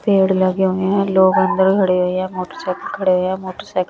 पेड़ लगे हुए हैं लोग अंदर खड़े हुए हैं मोटरसाइकिल खड़े हुए मोटरसाइकिल --